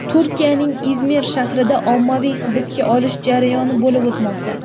Turkiyaning Izmir shahrida ommaviy hibsga olish jarayoni bo‘lib o‘tmoqda.